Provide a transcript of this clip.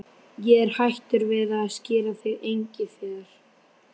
Ég er hættur við að skíra þig Engifer.